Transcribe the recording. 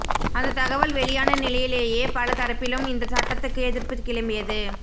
அந்த தகவல் வெளியான நிலையிலேயே பல தரப்பிலும் இந்த சட்டத்துக்கு எதிர்ப்பு கிளம்பியது